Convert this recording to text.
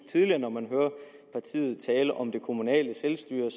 tidligere når man hørte partiet tale om det kommunale selvstyre at